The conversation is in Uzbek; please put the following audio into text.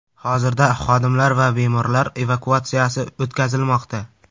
Hozirda xodimlar va bemorlar evakuatsiyasi o‘tkazilmoqda.